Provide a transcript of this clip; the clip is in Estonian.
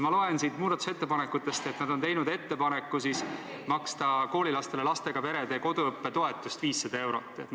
Ma loen siit muudatusettepanekutest, et nad on teinud ettepaneku maksta koolilastele lastega perede koduõppetoetust, mille suurus on 500 eurot.